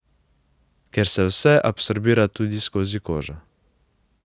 Ker se vse absorbira tudi skozi kožo.